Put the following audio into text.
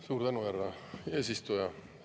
Suur tänu, härra eesistuja!